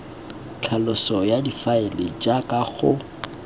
tlhaloso ya difaele jaaka go